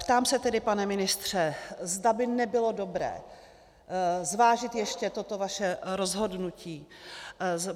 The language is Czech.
Ptám se tedy, pane ministře, zda by nebylo dobré zvážit ještě toto vaše rozhodnutí.